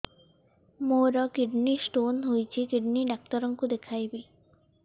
ମୋର kidney stone ହେଇଛି kidney doctor କୁ ଦେଖାଇବି